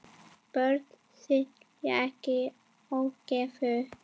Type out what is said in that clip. Börn skilja ekki ógæfu.